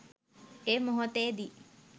ඒ මොහොතේදී